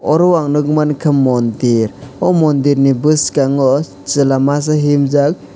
oro ang nog mangka mondir o mondir ni boskango chela masa himjak.